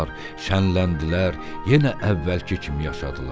Şənləndilər, yenə əvvəlki kimi yaşadılar.